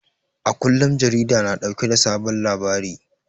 A kullum jarida na dauke da sabon labari